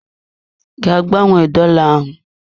Gaa gbanwee dola ahụ!